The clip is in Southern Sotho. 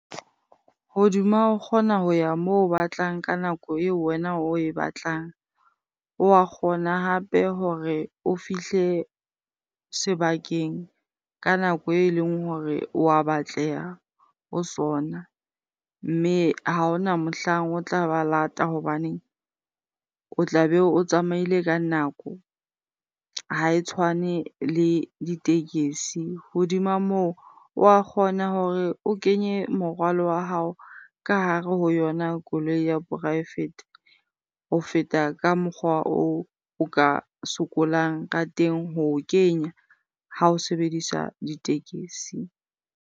Hodima o kgona ho ya moo o batlang ka nako eo wena oe batlang. Wa kgona hape hore o fihle sebakeng ka nako eleng hore wa batleha ho sona mme ha hona mohlang o tla ba lata hobaneng o tla be o tsamaile ka nako, ha e tshwane le ditekesi. Hodima moo, wa kgona hore o kenye morwalo wa hao ka hare ho yona koloi ya poraefete ho feta ka mokgwa oo o ka sokolang ka teng ho o kenya ha o sebedisa ditekesi.